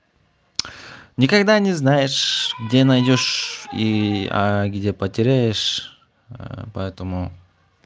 никогда не знаешь где найдёшь и ээ где потеряешь ээ поэтому